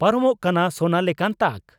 ᱯᱟᱨᱚᱢᱚᱜ ᱠᱟᱱᱟ ᱥᱚᱱᱟ ᱞᱮᱠᱟᱛᱱ ᱛᱟᱠ